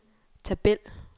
tabel